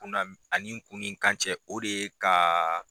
Kun na ani kun ni kan cɛ o de ye ka